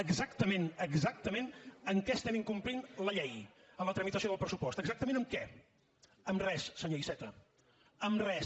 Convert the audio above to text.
exactament exactament en què estem incomplint la llei amb la tramitació del pressupost exactament en què en res senyor iceta en res